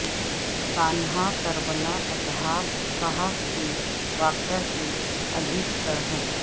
سانحہ کربلااصحاب کہف کے واقعہ سے عجیب تر ہے